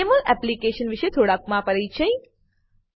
જમોલ application વિષે થોડાક માપરિચય